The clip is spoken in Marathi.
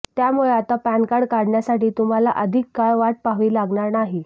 त्यामुळे आता पॅनकार्ड मिळण्यासाठी तुम्हाला अधिक काळ वाट पाहावी लागणार नाही